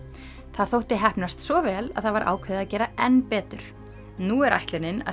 það þótti heppnast svo vel að það var ákveðið að gera enn betur nú er ætlunin að